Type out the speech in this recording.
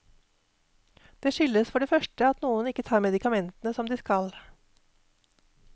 Det skyldes for det første at noen ikke tar medikamentene som de skal.